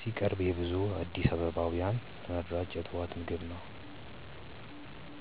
ሲቀርብ የብዙ አዲስ አበባውያን ተመራጭ የጠዋት ምግብ ነው።